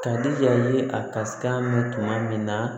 Kadi ya ye a ka se ka mɛn tuma min na